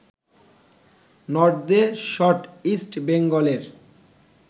নর্দের shot ইস্ট বেঙ্গলের